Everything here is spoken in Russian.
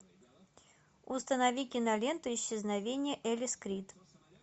установи киноленту исчезновение элис крид